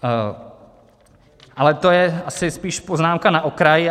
Ale to je asi spíš poznámka na okraj.